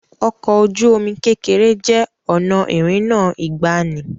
Ọkọ oju-omi kekere jẹ́ ọ̀nà ìrìnnà ìgbàanì.